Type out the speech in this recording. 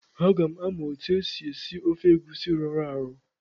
Aga m amụ otu esi esi ofe egusi rọrọ arọ.